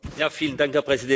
Herr Präsident!